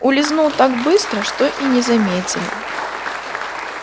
улизнул так быстро что и не заметили